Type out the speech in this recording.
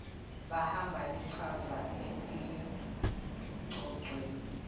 bamba lichaza etingcocweni